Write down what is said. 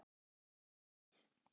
Já, ég mun gera það.